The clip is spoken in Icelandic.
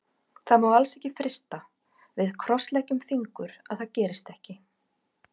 Það má alls ekki frysta, við krossleggjum fingur að það gerist ekki.